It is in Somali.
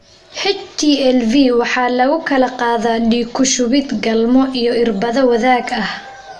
HTLV laabo waxaa lagu kala qaadaa dhiig ku shubid, galmo iyo irbado wadaag ah.